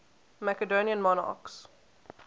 macedonian monarchs